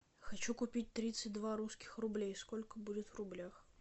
хочу купить тридцать два русских рублей сколько будет в рублях